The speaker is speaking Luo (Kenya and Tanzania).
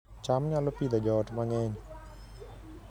cham nyalo Pidhoo joot mang'eny